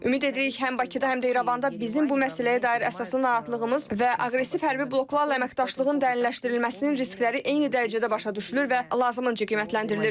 Ümid edirik həm Bakıda, həm də İrəvanda bizim bu məsələyə dair əsaslı narahatlığımız və aqressiv hərbi bloklarla əməkdaşlığın dərniləşdirilməsinin riskləri eyni dərəcədə başa düşülür və lazımınca qiymətləndirilir.